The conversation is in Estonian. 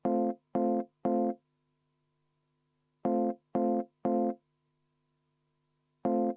Aitäh, austatud esimees!